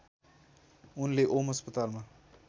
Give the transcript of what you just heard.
उनले ओम अस्पतालमा